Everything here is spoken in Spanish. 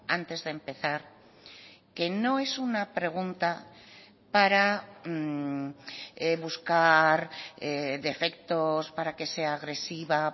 antes de empezar que no es una pregunta para buscar defectos para que sea agresiva